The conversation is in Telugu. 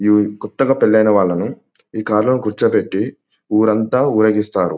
కొత్తగా పెళ్లైన వాళ్ళని ఈ కారులో కూర్చోపెట్టి ఊరంతా ఊరేగిస్తారు --